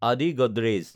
আদি গডৰেজ